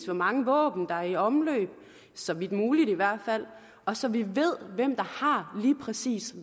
hvor mange våben der er i omløb så vidt muligt i hvert fald og så vi ved hvem der har lige præcis